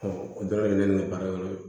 o bɛɛ bɛ ne ka baara in kɔnɔ